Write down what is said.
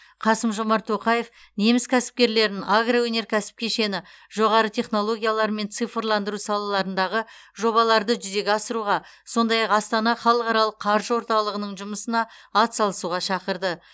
қасым жомарт тоқаев неміс кәсіпкерлерін агроөнеркәсіп кешені жоғары технологиялар мен цифрландыру салаларындағы жобаларды жүзеге асыруға сондай ақ астана халықаралық қаржы орталығының жұмысына атсалысуға шақырды